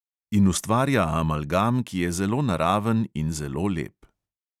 In ustvarja amalgam, ki je zelo naraven in zelo lep.